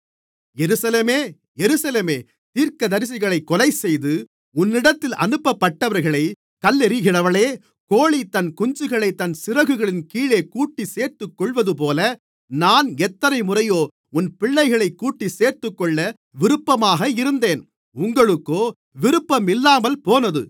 எருசலேமே எருசலேமே தீர்க்கதரிசிகளைக் கொலைசெய்து உன்னிடத்தில் அனுப்பப்பட்டவர்களைக் கல்லெறிகிறவளே கோழி தன் குஞ்சுகளைத் தன் சிறகுகளின்கீழே கூட்டிச்சேர்த்துக்கொள்ளுவதுபோல நான் எத்தனைமுறையோ உன் பிள்ளைகளைக் கூட்டிச்சேர்த்துக்கொள்ள விருப்பமாக இருந்தேன் உங்களுக்கோ விருப்பமில்லாமல்போனது